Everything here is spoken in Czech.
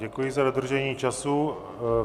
Děkuji za dodržení času.